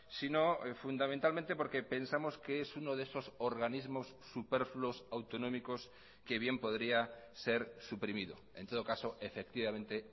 sino fundamentalmente porque pensamos que es uno de esos organismos superfluos autonómicos que bien podría ser suprimido en todo caso efectivamente